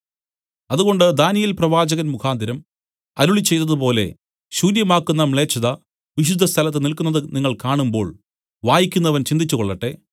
അതുകൊണ്ട് ദാനീയേൽ പ്രവാചകൻമുഖാന്തരം അരുളിച്ചെയ്തതുപോലെ ശൂന്യമാക്കുന്ന മ്ലേച്ഛത വിശുദ്ധസ്ഥലത്ത് നില്ക്കുന്നതു നിങ്ങൾ കാണുമ്പോൾ വായിക്കുന്നവൻ ചിന്തിച്ചുകൊള്ളട്ടെ